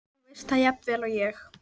Þú veist það jafnvel og ég.